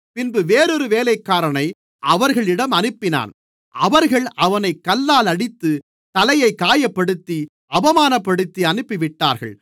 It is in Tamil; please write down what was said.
பின்பு வேறொரு வேலைக்காரனை அவர்களிடம் அனுப்பினான் அவர்கள் அவனைக் கல்லால் அடித்து தலையைக் காயப்படுத்தி அவமானப்படுத்தி அனுப்பிவிட்டார்கள்